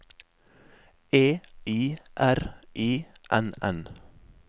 E I R I N N